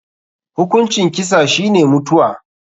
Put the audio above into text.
Hukuncin kisa shi ne mutuwa.